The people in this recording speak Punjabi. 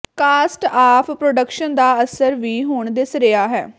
ਕਾਸਟ ਆਫ ਪ੍ਰੋਡਕਸ਼ਨ ਦਾ ਅਸਰ ਵੀ ਹੁਣ ਦਿਸ ਰਿਹਾ ਹੈ